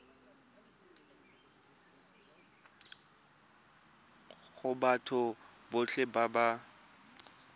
go batho botlhe ba ba